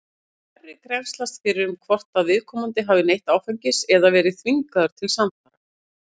Færri grennslast fyrir um hvort að viðkomandi hafi neytt áfengis eða verið þvingaður til samfara.